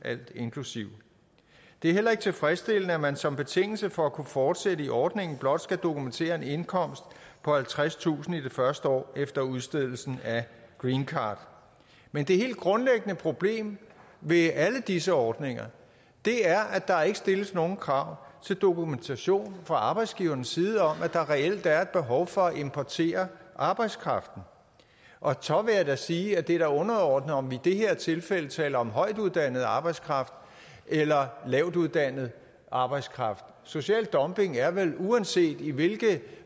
alt inklusive det er heller ikke tilfredsstillende at man som betingelse for at kunne fortsætte i ordningen blot skal kunne dokumentere en indkomst på halvtredstusind kroner i det første år efter udstedelsen af greencard men det helt grundlæggende problem ved alle disse ordninger er at der ikke stilles nogle krav til dokumentation fra arbejdsgivernes side om at der reelt er behov for at importere arbejdskraften og så vil jeg sige at det da er underordnet om vi i det her tilfælde taler om højtuddannet arbejdskraft eller lavtuddannet arbejdskraft social dumping er vel uanset i hvilket